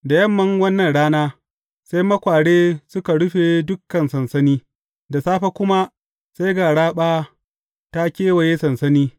Da yamman wannan rana, sai makware suka rufe dukan sansani, da safe kuma sai ga raɓa ta kewaye sansani.